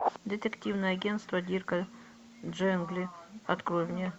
детективное агентство дирка джентли открой мне